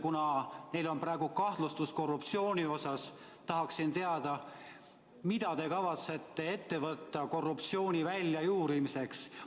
Kuna neil on praegu korruptsiooni kahtlustus, tahaksin teada, mida te kavatsete ette võtta korruptsiooni väljajuurimiseks.